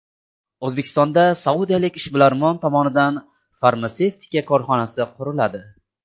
O‘zbekistonda saudiyalik ishbilarmon tomonidan farmatsevtika korxonasi quriladi.